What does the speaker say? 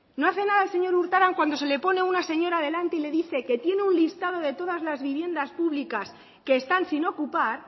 no hace nada el señor urtaran cuando se le pone una señora delante y le dice que tiene un listado de todas las viviendas públicas que están sin ocupar